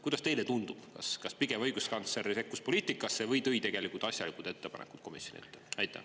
Kuidas teile tundub, kas õiguskantsler sekkus poliitikasse või tegi tegelikult asjalikud ettepanekud komisjonile?